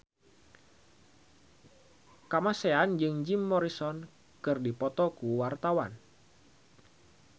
Kamasean jeung Jim Morrison keur dipoto ku wartawan